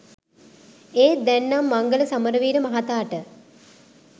ඒත් දැන් නම් මංගල සමරවීර මහතාට